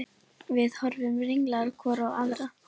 Við horfðum ringlaðar hvor á aðra.